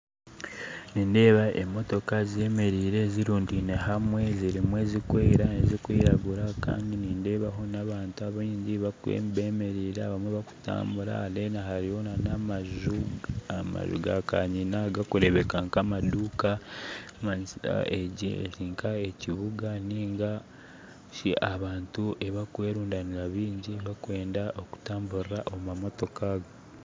Nindeeba emotooka zemereire ,zirundiine hamwe zirimu ezikwera ezikwiragura nindeebaho nabantu baingi bakwera barikwiragura bakutambura Kandi nindeebaho namaju amaju ga kanyina gakureebeka nkamaduuka ekikumanyisa erinka ekibuga nari ahu abantu barikwerundaanira baingi barikwenda okutambuurira omu mamootoka ago